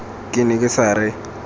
ke ne ke sa re